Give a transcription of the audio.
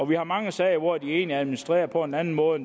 vi har mange sager hvor de egentlig administrerer på en anden måde